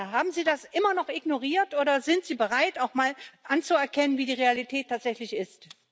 Haben Sie das immer noch ignoriert oder sind Sie bereit, auch mal anzuerkennen, wie die Realität tatsächlich ist?